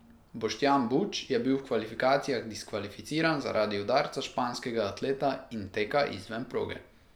Boštjan Buč je bil v kvalifikacijah diskvalificiran zaradi udarca španskega atleta in teka izven proge.